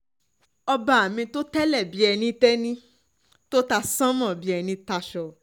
ọba um mi tó tẹ́lẹ̀ bíi ẹni tẹ́ni um tó ta sànmọ́ bíi ẹni taṣọ